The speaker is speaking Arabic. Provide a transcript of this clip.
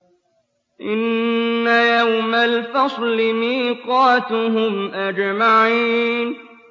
إِنَّ يَوْمَ الْفَصْلِ مِيقَاتُهُمْ أَجْمَعِينَ